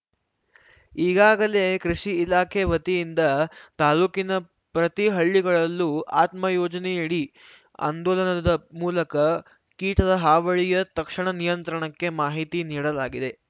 ಈಗಾಗಲೇ ಕೃಷಿ ಇಲಾಖೆ ವತಿಯಿಂದ ತಾಲೂಕಿನ ಪ್ರತಿ ಹಳ್ಳಿಗಳಲ್ಲೂ ಆತ್ಮ ಯೋಜನೆಯಡಿ ಆಂದೋಲನದ ಮೂಲಕ ಕೀಟದ ಹಾವಳಿಯ ತಕ್ಷಣ ನಿಯಂತ್ರಣಕ್ಕೆ ಮಾಹಿತಿ ನೀಡಲಾಗಿದೆ